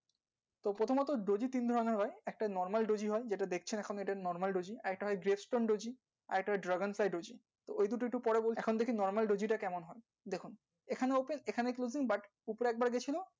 প্রথমত daisy, candle নিয়ে normal, daisy একটা হয় jetskin, daisy আরেকটা ruderbay, daisy এই দু তিনতের মধ্যে normal, daisy টা কেমন হয় ঠিক আছে এখানে কিন্তু